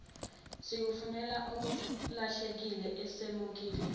sikufunele okulahlekile asemukeli